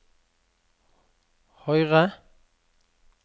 høyre